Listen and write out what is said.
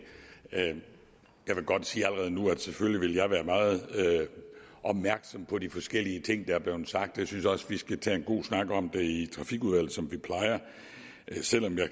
jeg vil godt sige allerede nu at selvfølgelig vil jeg være meget opmærksom på de forskellige ting der er blevet sagt jeg synes også vi skal tage en god snak om det i trafikudvalget som vi plejer selv om jeg